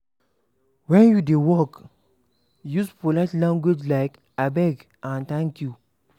When you dey work, use polite language like "abeg" and "thank you"